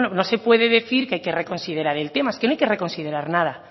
no se puede decir que hay que reconsiderar el tema es que no hay que reconsiderar nada